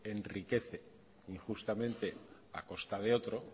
enriquece injustamente a costa de otro